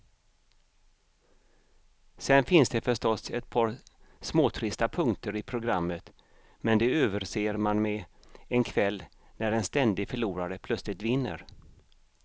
Sen finns det förstås ett par småtrista punkter i programmet, men de överser man med en kväll när en ständig förlorare plötsligt vinner.